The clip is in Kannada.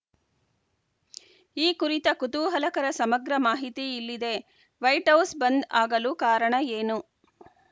ಈ ಕುರಿತ ಕುತೂಹಲಕರ ಸಮಗ್ರ ಮಾಹಿತಿ ಇಲ್ಲಿದೆ ವೈಟ್‌ ಹೌಸ್‌ ಬಂದ್‌ ಆಗಲು ಕಾರಣ ಏನು